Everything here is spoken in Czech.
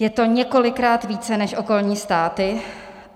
Je to několikrát více než okolní státy.